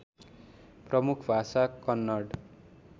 प्रमुख भाषा कन्नड